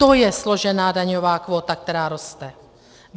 To je složená daňová kvóta, která roste.